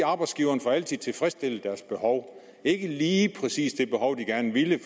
at arbejdsgiverne altså får tilfredsstillet deres behov ikke lige præcis det behov de gerne ville